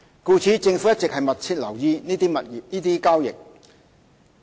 故此，政府一直密切留意這些交易。